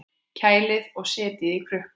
Kælið og setjið í krukku.